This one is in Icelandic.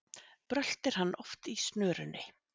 Bröltir hann oft í snörunni,